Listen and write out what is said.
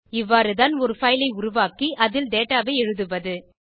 இவ்வாறுதான் ஒரு பைல் ஐ உருவாக்கி அதில் டேட்டா ஐ எழுதுவது